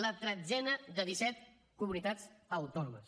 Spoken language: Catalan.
la tretzena de disset comunitats autònomes